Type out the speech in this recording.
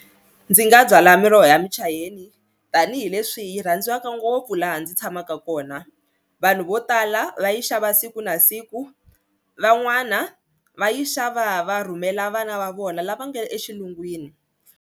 Ndzi nga byala miroho ya michayeni tanihileswi yi rhandziwaka ngopfu laha ndzi tshamaka kona vanhu vo tala va yi xava siku na siku van'wana va yi xava va rhumela vana va vona lava nga le exilungwini.